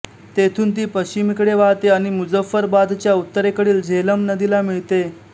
तेथून ती पश्चिमेकडे वाहते आणि मुझफ्फराबादच्या उत्तरेकडील झेलम नदीला मिळते